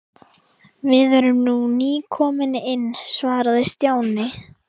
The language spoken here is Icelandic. Við erum nú nýkomin inn svaraði Stjáni.